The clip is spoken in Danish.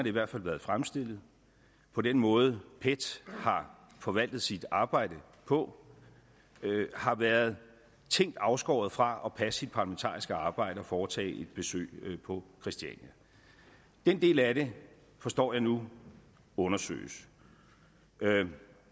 i hvert fald været fremstillet på den måde pet har forvaltet sit arbejde på har været tænkt afskåret fra at passe sit parlamentariske arbejde og foretage et besøg på christiania den del af det forstår jeg nu undersøges